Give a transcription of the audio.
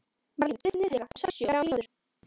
Marlín, stilltu niðurteljara á sextíu og þrjár mínútur.